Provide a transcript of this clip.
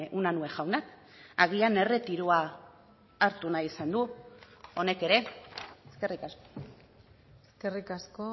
unanue jauna agian erretiroa hartu nahi izan du honek ere eskerrik asko eskerrik asko